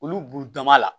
Olu b'u dama la